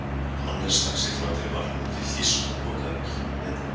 Hannes stakk sér framfyrir varnarmann Fylkis og potaði boltanum í netið.